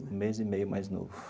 Um mês e meio mais novo.